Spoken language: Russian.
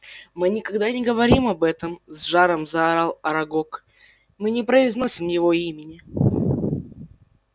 мы никогда не говорим об этом с жаром заорал арагог мы не произносим его имени